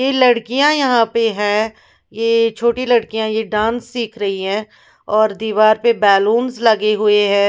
ये लडकिया यहाँ पे हैं ये छोटी लड़कियाँ डांस सिख रही हैं और दीवार पे बैलून्स लगे हुए हैं।